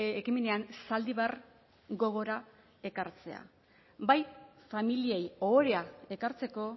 ekimenean zaldibar gogora ekartzea bai familiei ohorea ekartzeko